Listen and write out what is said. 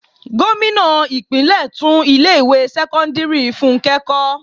Gómìnà ìpínlè tún ilé ìwé sẹ́kọ́ńdírì fúnké kó.